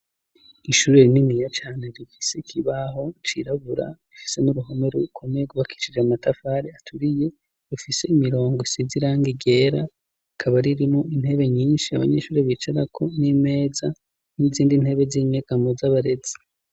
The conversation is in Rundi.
Ishuri rininiya cane rifise ikibaho cirabura, rifise n'uruhome rukomeye rwubakishije amatafari aturiye, rufise imirongo isize irangi ryera rikaba ririmo intebe nyinshi abanyeshuri bicarako n'imeza n'izindi ntebe z'inyegamo z'abarezi.